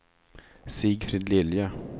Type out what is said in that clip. Sigfrid Lilja